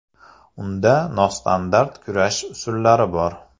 Unda nostandart kurash usullari bor.